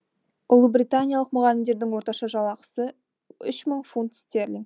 ұлыбританиялық мұғалімдердің орташа жалақысы үш мың фунт стерлинг